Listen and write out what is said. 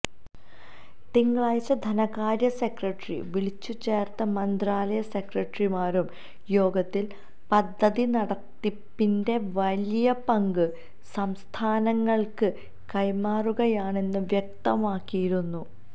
തിങ്കളാഴ്ച ധനകാര്യസെക്രട്ടറി വിളിച്ചു ചേര്ത്ത മന്ത്രാലയ സെക്രട്ടറിമാരുടെ യോഗത്തില് പദ്ധതി നടത്തിപ്പിന്റെ വലിയ പങ്ക് സംസ്ഥാനങ്ങള്ക്ക് കൈമാറുകയാണെന്ന് വ്യക്തമാക്കിയിരുന്നു